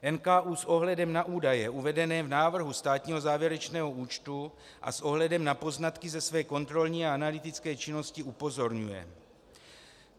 NKÚ s ohledem na údaje uvedené v návrhu státního závěrečného účtu a s ohledem na poznatky ze své kontrolní a analytické činnosti upozorňuje: